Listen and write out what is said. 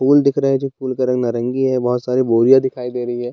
फूल दिख रहे हैं जो फूल का रंग नारंगी है बहुत सारी बोरियां दिखाई दे रही है।